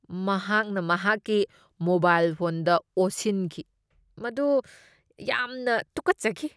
ꯃꯍꯥꯛꯅ ꯃꯍꯥꯛꯀꯤ ꯃꯣꯕꯥꯏꯜ ꯐꯣꯟꯗ ꯑꯣꯁꯤꯟꯈꯤ꯫ ꯃꯗꯨ ꯌꯥꯝꯅ ꯇꯨꯈꯠꯆꯈꯤ꯫